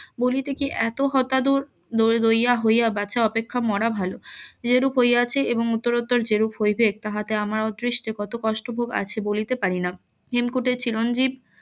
বলিতে কি এত দূর . হইয়া অপেক্ষা মরা ভালো যে রূপ হইয়াছে এবং উত্তরাতোর যেরূপ হইবেক তাহাতে আমার অদৃষ্টে কত কষ্ট ভোগ আছে বলিতে পারিনা হেমকূটের চিরঞ্জিব